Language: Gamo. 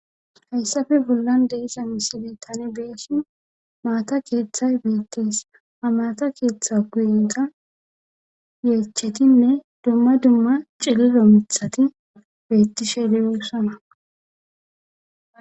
hayssafe bollan de7iza misile tani be7eshin maata keeththay beettees ha maata keeththa guyeta yeechetinne dumma dumma cililo mithati bettishe de7oosana.